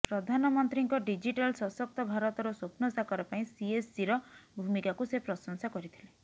ପ୍ରଧାନମନ୍ତ୍ରୀଙ୍କ ଡିଜିଟାଲ୍ ସଶକ୍ତ ଭାରତର ସ୍ୱପ୍ନ ସାକାର ପାଇଁ ସିଏସ୍ସିର ଭୂମିକାକୁ ସେ ପ୍ରଶଂସା କରିଥିଲେ